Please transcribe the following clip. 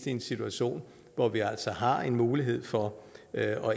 i en situation hvor vi altså har en mulighed for at